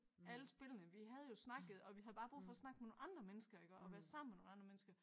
Alle spillene vi havde jo snakket og vi havde bare brug for at snakke med nogle andre mennesker iggå og være sammen med nogle andre mennesker